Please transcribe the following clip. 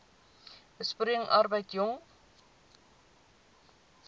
besproeiing arbeid jong